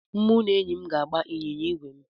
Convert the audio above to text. Mụ na enyi m ga-agba ịnyịnya ígwè m.